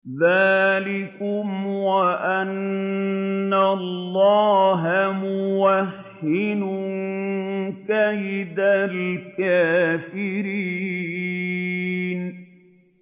ذَٰلِكُمْ وَأَنَّ اللَّهَ مُوهِنُ كَيْدِ الْكَافِرِينَ